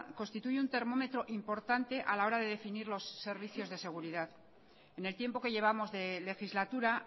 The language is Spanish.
constituye un termómetro importante a la hora de definir los servicios de seguridad en el tiempo que llevamos de legislatura